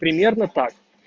примерно так